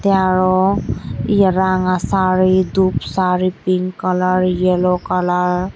te aro ye ranga saree dup saree pink kalar yellow kalar .